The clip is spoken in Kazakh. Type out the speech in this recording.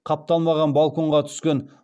қапталмаған балконға түскен